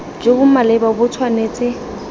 jo bo maleba bo tshwanetse